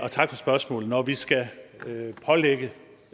tak for spørgsmålet når vi skal pålægge